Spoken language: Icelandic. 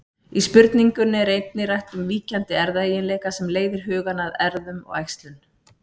Í spurningunni er einnig rætt um víkjandi erfðaeiginleika sem leiðir hugann að erfðum og æxlun.